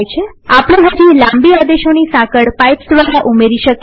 આપણે હજી લાંબી આદેશોની સાંકળ પાઈપ્સ દ્વારા ઉમેરી શકીએ